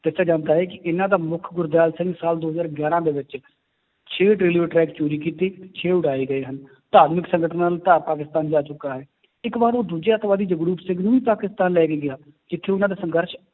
ਦੱਸਿਆ ਜਾਂਦਾ ਹੈ ਕਿ ਇਹਨਾਂ ਦਾ ਮੁੱਖ ਗੁਰਦਿਆਲ ਸਿੰਘ ਸਾਲ ਦੋ ਹਜ਼ਾਰ ਗਿਆਰਾਂ ਦੇ ਵਿੱਚ ਛੇ railway track ਚੋਰੀ ਕੀਤੇ, ਛੇ ਉਡਾਏ ਗਏ ਹਨ, ਧਾਰਮਿਕ ਸੰਗਠਨਾਂ ਨੂੰ ਪਾਕਿਸਤਾਨ ਜਾ ਚੁੱਕਾ ਹੈ, ਇੱਕ ਵਾਰ ਉਹ ਦੂਜੇ ਆਤੰਕਵਾਦੀ ਜਗਰੂਪ ਸਿੰਘ ਨੂੰ ਵੀ ਪਾਕਿਸਤਾਨ ਲੈ ਕੇ ਗਿਆ, ਜਿੱਥੇ ਉਹਨਾਂ ਦਾ ਸੰਘਰਸ਼